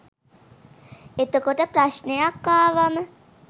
එතකොට ප්‍රශ්ණයක් ආවම